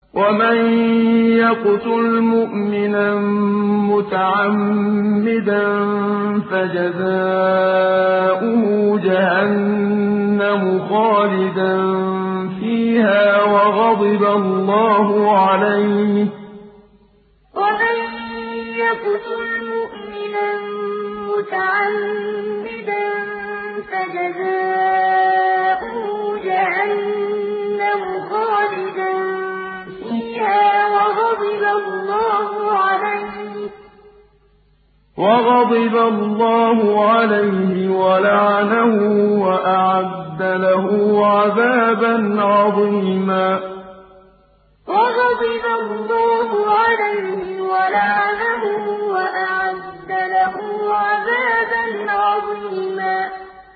وَمَن يَقْتُلْ مُؤْمِنًا مُّتَعَمِّدًا فَجَزَاؤُهُ جَهَنَّمُ خَالِدًا فِيهَا وَغَضِبَ اللَّهُ عَلَيْهِ وَلَعَنَهُ وَأَعَدَّ لَهُ عَذَابًا عَظِيمًا وَمَن يَقْتُلْ مُؤْمِنًا مُّتَعَمِّدًا فَجَزَاؤُهُ جَهَنَّمُ خَالِدًا فِيهَا وَغَضِبَ اللَّهُ عَلَيْهِ وَلَعَنَهُ وَأَعَدَّ لَهُ عَذَابًا عَظِيمًا